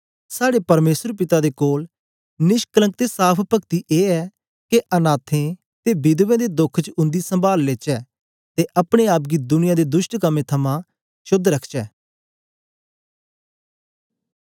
साड़े परमेसर पिता दे कोल निष्कलंक ते साफ़ पगती ए ऐ के अनाथें ते विधवें दे दोख च उन्दी सम्बाल लेचै ते अपने आप गी दुनिया दे दुष्ट कम्में थमां शोद्ध रखचै